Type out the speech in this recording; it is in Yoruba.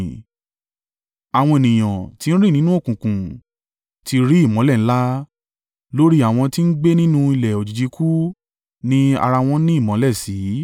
Àwọn ènìyàn tí ń rìn nínú òkùnkùn ti rí ìmọ́lẹ̀ ńlá; lórí àwọn tí ń gbé nínú ilẹ̀ òjìji ikú, ní ara wọn ni ìmọ́lẹ̀ mọ́ sí.